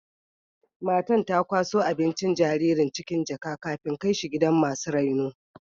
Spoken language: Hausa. Matan ta kwaso abincin jaririn cikin jaka,, kafin kai shi gidan masu raino.